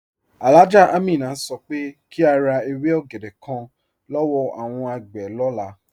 Alhájá Àmínà sọ pé kí a rá èwé ògédè kán lọ́wọ́ awọn agbé lọlá.